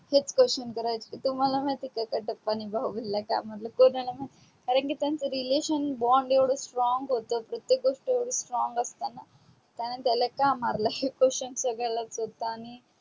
हेच question करायचे तुम्हाला माहीत आहे का कटप्पा णे बाहुबलीला का मारले कोणाला पण कारण त्यांच relation bond येवड strong होत प्रतेक गोष्ट येवडी strong असताना त्यांनी त्याला का मारल हेच question संगड्यांलाच होत आणि